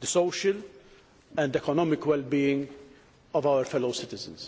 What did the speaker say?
the social and economic wellbeing of our fellow citizens.